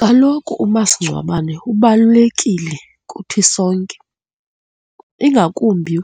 Kaloku umasingcwabane ubalulekile kuthi sonke, ingakumbi